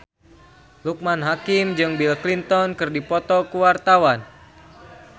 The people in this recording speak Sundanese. Loekman Hakim jeung Bill Clinton keur dipoto ku wartawan